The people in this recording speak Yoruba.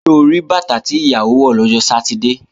Ṣo rí bàtà tí ìyàwó wọ̀ lọ́jọ́ Sátidé?